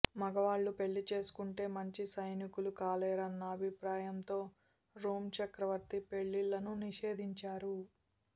మగవాళ్లు పెళ్లి చేసుకుంటే మంచి సైనికులు కాలేరన్న అభిప్రాయంతో రోమ్ చక్రవర్తి పెళ్లిళ్లను నిషేధించారు